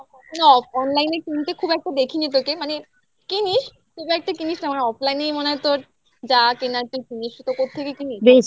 হ্যাঁ যেরকম না online এ কিনতে খুব একটা দেখিনি তোকে মানে কিনিস খুব একটা কিনিস না আমার online এই মনে হয় তোর যা কেনার জন্য সে তো কোত্থেকে কিনিস